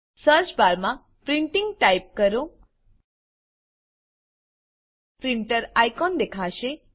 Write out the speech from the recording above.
search bar માં printing type કરો printer icon દેખાશે